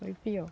Foi pior.